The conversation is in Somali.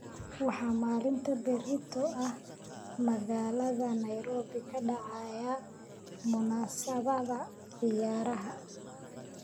waxaa maalinta berito ah magaalada nairobi ka dhacaysa munaasabada ciyaaraha